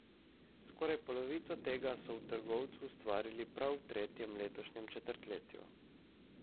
Skoraj polovico tega so v trgovcu ustvarili prav v tretjem letošnjem četrtletju.